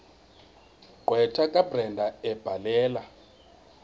gqwetha kabrenda ebhalela